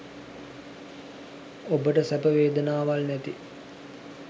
ඔබට සැප වේදනාවල් නැති